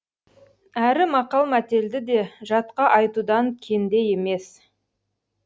әрі мақал мәтелді де жатқа айтудан кенде емес